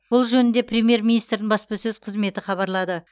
бұл жөнінде премьер министрдің баспасөз қызметі хабарлады